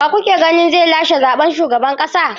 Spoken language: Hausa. Wa kuke ganin zai lashe zaɓen shugaban ƙasa?